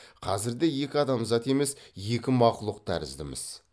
қазірде екі адамзат емес екі мақлұқ тәріздіміз